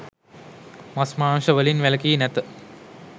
මස් මාංශ වලින් වැලකී නැත.